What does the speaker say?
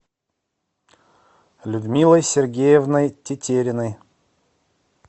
людмилой сергеевной тетериной